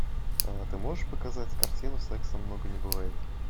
а ты можешь показать картину секса много не бывает